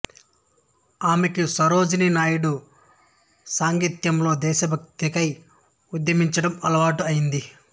ఆమెకు సరోజినీ నాయుడు సాంగత్యంలో దేశభక్తికై ఉద్యమించడం అలవాటు ఐంది